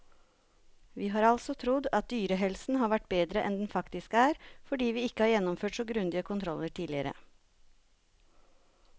Vi har altså trodd at dyrehelsen har vært bedre enn den faktisk er, fordi vi ikke har gjennomført så grundige kontroller tidligere.